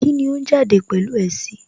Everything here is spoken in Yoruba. Kíni ó ń jáde pẹ̀lú ẹ sí?